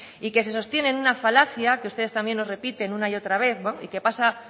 y que se sostiene en una falacia que ustedes también nos repiten una y otra vez y que pasa